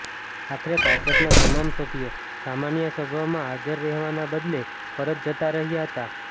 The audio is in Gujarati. આખરે ભાજપના તમામ સભ્યો સામાન્ય સભામાં હાજર રહેવાના બદલે પરત જતા રહ્યા હતા